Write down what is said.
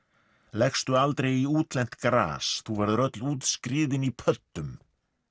leggstu aldrei í útlent gras þú verður öll útskriðin í pöddum